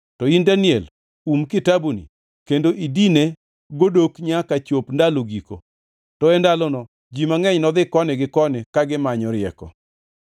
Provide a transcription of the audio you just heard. To in Daniel, um kitabuni kendo idine godok nyaka chop ndalo giko. To e ndalono ji mangʼeny nodhi koni gi koni ka gimanyo rieko.”